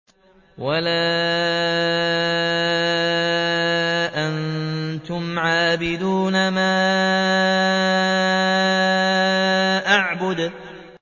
وَلَا أَنتُمْ عَابِدُونَ مَا أَعْبُدُ